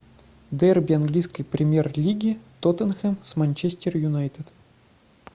дерби английской премьер лиги тоттенхэм с манчестер юнайтед